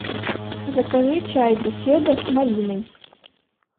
закажи чай беседа с малиной